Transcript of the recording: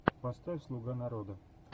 поставь слуга народа